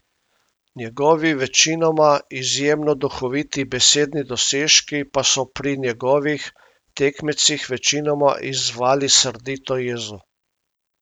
Njegovi večinoma izjemno duhoviti besedni dosežki pa so pri njegovih tekmecih večinoma izzvali srdito jezo.